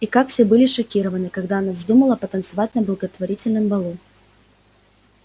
и как все были шокированы когда она вздумала потанцевать на благотворительном балу